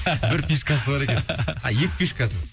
бір фишкасы бар екен а екі фишкасы